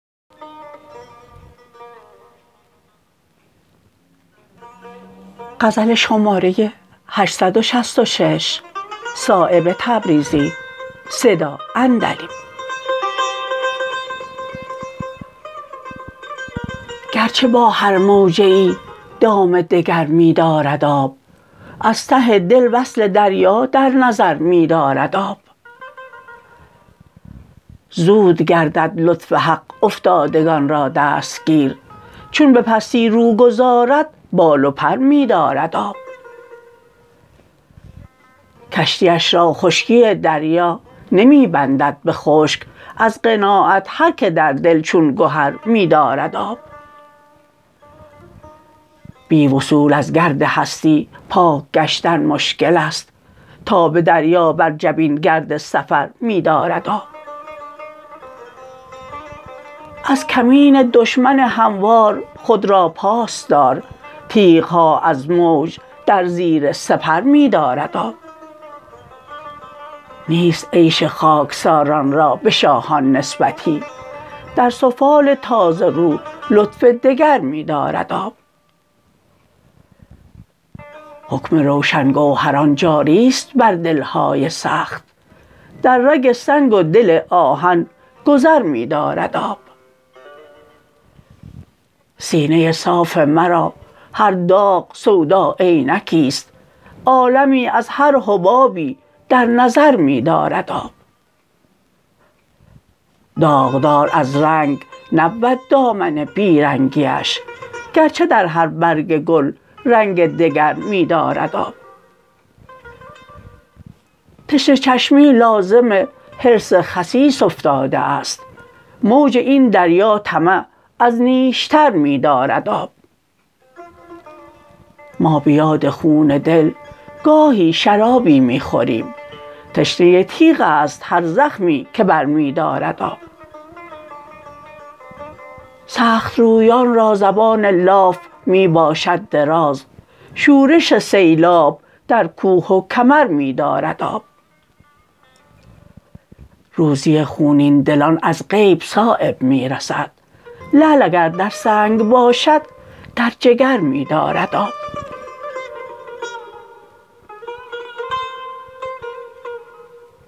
گرچه با هر موجه ای دام دگر می دارد آب از ته دل وصل دریا در نظر می دارد آب زود گردد لطف حق افتادگان را دستگیر چون به پستی رو گذارد بال و پر می دارد آب کشتیش را خشکی دریا نمی بندد به خشک از قناعت هر که در دل چون گهر می دارد آب بی وصول از گرد هستی پاک گشتن مشکل است تا به دریا بر جبین گرد سفر می دارد آب از کمین دشمن هموار خود را پاس دار تیغ ها از موج در زیر سپر می دارد آب نیست عیش خاکساران را به شاهان نسبتی در سفال تازه رو لطف دگر می دارد آب حکم روشن گوهران جاری است بر دل های سخت در رگ سنگ و دل آهن گذر می دارد آب سینه صاف مرا هر داغ سودا عینکی است عالمی از هر حبابی در نظر می دارد آب داغدار از رنگ نبود دامن بی رنگیش گرچه در هر برگ گل رنگ دگر می دارد آب تشنه چشمی لازم حرص خسیس افتاده است موج این دریا طمع از نیشتر می دارد آب ما به یاد خون دل گاهی شرابی می خوریم تشنه تیغ است هر زخمی که برمی دارد آب سخت رویان را زبان لاف می باشد دراز شورش سیلاب در کوه و کمر می دارد آب روزی خونین دلان از غیب صایب می رسد لعل اگر در سنگ باشد در جگر می دارد آب